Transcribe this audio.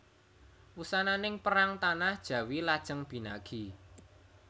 Wusananing perang tanah Jawi lajeng binagi